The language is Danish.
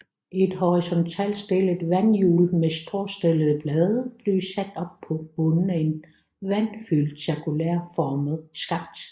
Et horisontalt stillet vandhjul med skråstillede blade blev sat op på bunden af en vandfyldt cirkulær formet skakt